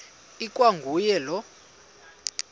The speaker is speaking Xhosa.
ikwa nguye lowo